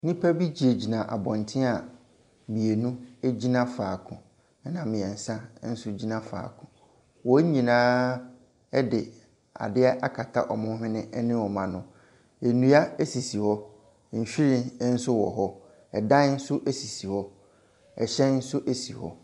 Nnipa bi gyinagyina abɔnten a mmienu gyina faako. Ɛna mmiɛnsa nso gyina faako. Wɔn nyinaa de adeɛ akata wn hwene ne wɔn ano. Nnua sisi hɔ. Nhwiren nso wɔ hɔ. Ɛdan nso sisi hɔ. Ɛhyɛn nso si hɔ.